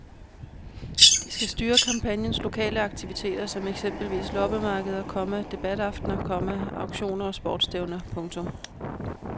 De skal styre kampagnens lokale aktiviteter som eksempelvis loppemarkeder, komma debataftner, komma auktioner og sportsstævner. punktum